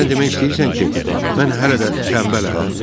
Sən demək istəyirsən ki, mən hələ də tənbələm?